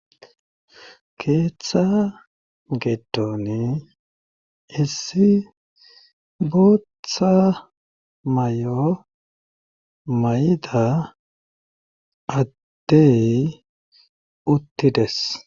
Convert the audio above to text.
keeththa gedoni essi guuththa mayo mayida addey uttides